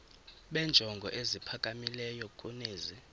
benenjongo eziphakamileyo kunezi